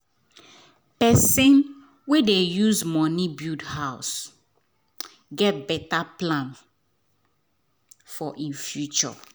person wen dey use money build house get better plan for e future